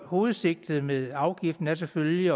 hovedsigtet med afgiften er selvfølgelig